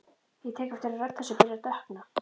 Ég tek eftir að rödd hans er byrjuð að dökkna.